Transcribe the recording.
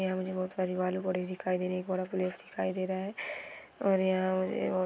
यहाँ मुझे बहुत सारी बालू बोरी दिखाई दे रही| यहाँ मुझे एक बड़ा दिखाई दे रहा है| और यहाँ मुझे---